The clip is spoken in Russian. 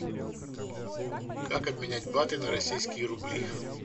как обменять баты на российские рубли